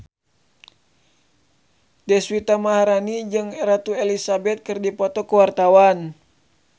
Deswita Maharani jeung Ratu Elizabeth keur dipoto ku wartawan